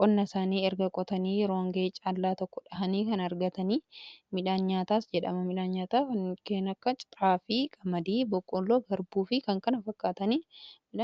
qonnaa isaanii erga qotanii yeroo oongee caalaa tokko dhahanii kan argatanii midhaan nyaataas jedhama midhaan nyaataa keenakka ciraafii qamadii boqolloo garbuu fi kan kana fakkaataniidha.